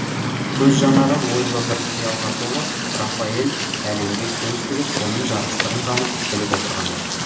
көз жанары ойлы бір киялға толы рафаэль әлемге көз тігіп оның жарастығын танып біліп отырғандай